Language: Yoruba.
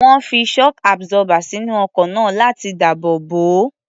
Wọ́n fi shock absorber sínú ọkọ̀ náà láti dáàbò bò ó.